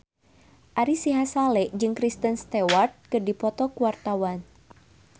Ari Sihasale jeung Kristen Stewart keur dipoto ku wartawan